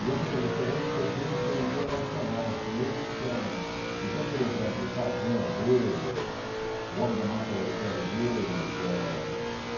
E essa coleção hoje pertence à editora nacional, são eles que são... Então, por exemplo, o Tarzan é deles, o Homem da Máscara de Ferro é deles.